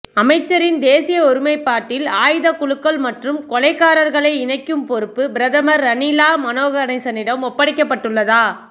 அமைச்சரின் தேசிய ஒருமைப்பாட்டில் ஆயுதக் குழுக்கள் மற்றும் கொலைகாரர்களை இணைக்கும் பெறுப்பு பிரதமர் ரணிலால் மனோ கணேசனிடம் ஒப்படைக்கப் பட்டுள்ளதா